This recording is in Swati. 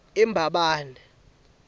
embabane